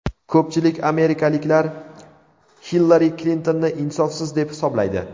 Ko‘pchilik amerikaliklar Hillari Klintonni insofsiz deb hisoblaydi.